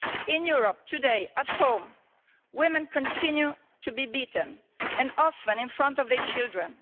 In Europe today, at home, women continue to be beaten, and often in front of their children.